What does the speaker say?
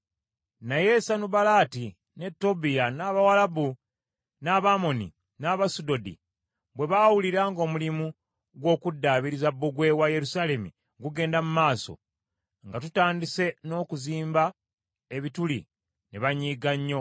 Naye Sanubalaati, ne Tobiya, n’Abawalabu, n’Abamoni, n’Abasudodi bwe baawulira ng’omulimu gw’okuddaabiriza bbugwe wa Yerusaalemi gugenda mu maaso, nga tutandise n’okuziba ebituli, ne banyiiga nnyo.